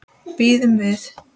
Bíðum við.